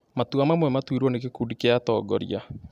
Matua mamwe matuirwo nĩ gĩkundi kĩa atongoria